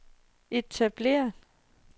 etablerede